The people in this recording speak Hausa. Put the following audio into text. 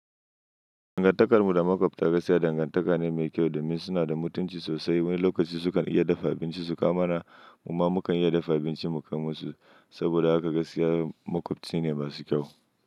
Dangantakarmu da makwabta gaskiya dangantaka ne mai kyau, domin suna da mutunci sosai. Wani lokaci sukan iya dafa abinci su kawo mana, kuma mu kan iya dafa abinci mu kai musu. Saboda haka gaskiya makwabci ne masu kyau.